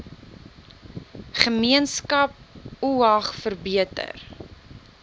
gemeenskap oag verbeter